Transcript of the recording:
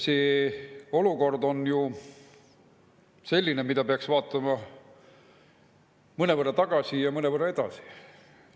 See olukord on ju selline, mida peaks vaatama mõnevõrra tagasi ja mõnevõrra edasi.